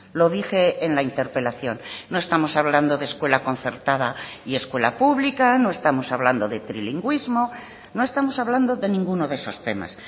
lo dije en la interpelación no estamos hablando de escuela concertada y escuela pública no estamos hablando de trilingüismo no estamos hablando de ninguno de esos temas